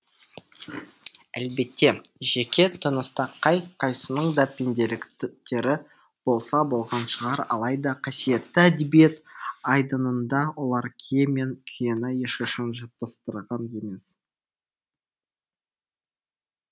әлбетте жеке тыныста қай қайсының да пенделіктері болса болған шығар алайда қасиетті әдебиет айдынында олар кие мен күйені ешқашан шатастырған емес